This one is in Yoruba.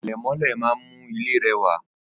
Àlẹ̀mọ́lẹ̀ má ń mú ilé rẹwà.